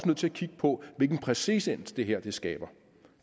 nødt til at kigge på hvilken præcedens det her skaber